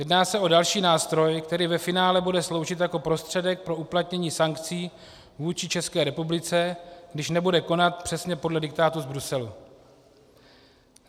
Jedná se o další nástroj, který ve finále bude sloužit jako prostředek pro uplatnění sankcí vůči České republice, když nebude konat přesně podle diktátu z Bruselu.